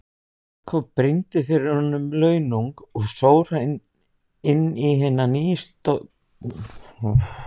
Jakob brýndi fyrir honum launung og sór hann inn í hina nýstofnuðu flóttamannahjálp Vestfjarða.